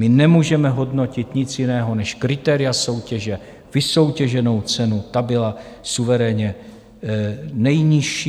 My nemůžeme hodnotit nic jiného než kritéria soutěže, vysoutěženou cenu, ta byla suverénně nejnižší.